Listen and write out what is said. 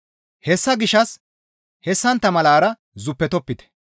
Hessa gishshas hessantta malara zuppetopite.